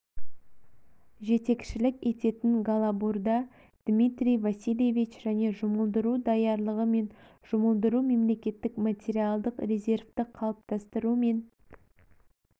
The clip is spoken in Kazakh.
жетекшілік ететін голобурда дмитрий васильевич және жұмылдыру даярлығы мен жұмылдыру мемлекеттік материалдық резервті қалыптастыру мен